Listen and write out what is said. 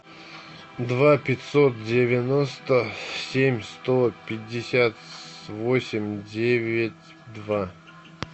два пятьсот девяносто семь сто пятьдесят восемь девять два